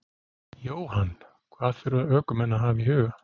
Jóhann: Hvað þurfa ökumenn að hafa í huga?